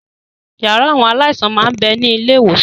Yàrá àwọn aláìsàn máa ń bẹni ilé ìwòsàn